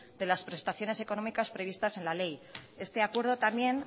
de las prestaciones económicas previstas en la ley este acuerdo también